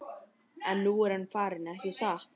En nú er hann farinn, ekki satt?